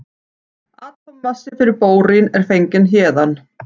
Atómmassi fyrir bórín er fenginn héðan.